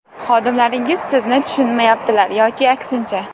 Xodimlaringiz sizni tushunmayaptilar yoki aksincha.